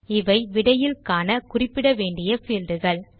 இவை விடையில் காண குறிப்பிட வேண்டிய fieldகள்